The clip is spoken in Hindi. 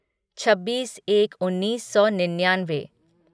छब्बीस एक उन्नीस सौ निन्यानवे